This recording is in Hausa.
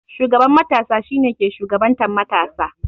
Shugaban matasa shi ne ke shugabantan matasa.